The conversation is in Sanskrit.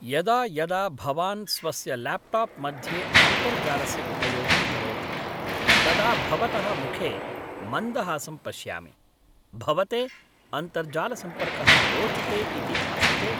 यदा यदा भवान् स्वस्य ल्याप्टाप् मध्ये अन्तर्जालस्य उपयोगं करोति तदा भवतः मुखे मन्दहासं पश्यामि, भवते अन्तर्जालसम्पर्कः रोचते इति भासते!